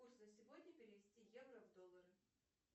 курс на сегодня перевести евро в доллары